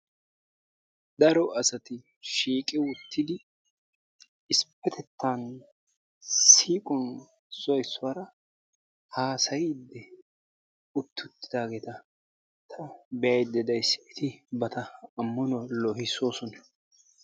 Daro asati shiiqi uttidi issippetettan siiquwan issoy issuwara haasayidi utti uttidaageta be'ayda days, eti bantta ammanuwa loohissoosona.